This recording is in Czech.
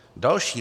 Další: